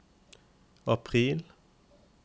april